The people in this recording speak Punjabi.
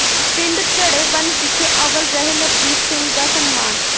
ਪਿੰਡ ਚੜ੍ਹੇਵਣ ਵਿਖੇ ਅੱਵਲ ਰਹੇ ਨਵਦੀਪ ਸਿੰਘ ਦਾ ਸਨਮਾਨ